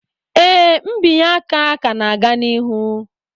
Ee, mbinye aka ka na-aga n'ihu